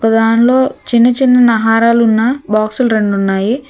ఒ దాన్లో చిన్నచినున్న హారాలున్న బాక్సులు రెండున్నాయి.